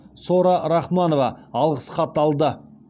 сора рахманова алғыс хат алды